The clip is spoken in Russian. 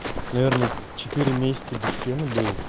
наверное четыре месяца без фена был